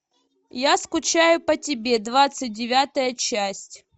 я скучаю по тебе двадцать девятая часть